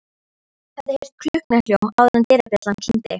Hafði heyrt klukknahljóm áður en dyrabjallan klingdi.